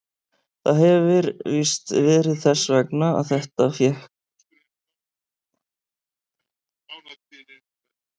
Það hefir víst verið þess vegna að þetta sinn fékk ég enga fylgd.